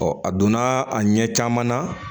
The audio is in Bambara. a donna a ɲɛ caman na